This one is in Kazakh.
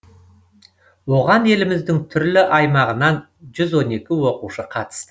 оған еліміздің түрлі аймағынан жүз он екі оқушы қатысты